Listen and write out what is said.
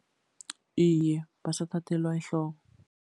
Iye, basathathelwa ehloko.